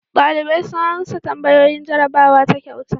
Dalibai sun amsa tambayoyin jarrabawa ta kyauta.